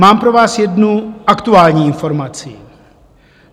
Mám pro vás jednu aktuální informaci.